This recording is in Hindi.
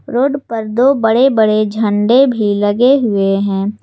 रोड पर दो बड़े बड़े झंडा भी लगे हुए हैं।